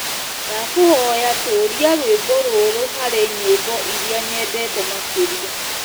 ndakũhoya tuuria rwĩmbo rũrũ harĩ nyĩmbo ĩrĩa nyendete makĩrĩa